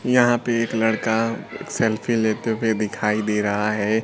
यहां पे एक लड़का सेल्फी लेते हुए दिखाई दे रहा है।